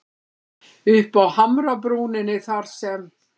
Uppi á hamrabrúninni þar sem